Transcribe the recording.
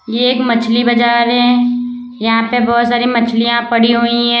ये एक मछली बाजार है यहां पे बहुत सारी मछलियां पड़ी हुई हैं।